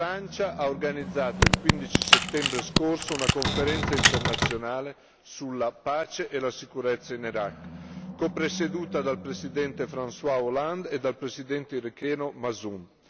La Francia ha organizzato il 15 settembre scorso una conferenza internazionale sulla pace e la sicurezza in Iraq, copresieduta dal presidente François Hollande e dal presidente iracheno Masum.